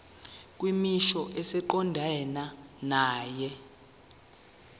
kwisimo esiqondena nawe